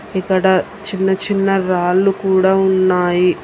ఇక్కడ చిన్న చిన్న రాళ్లు కూడా ఉన్నాయి.